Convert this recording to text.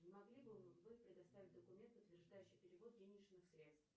не могли бы вы предоставить документ подтверждающий перевод денежных средств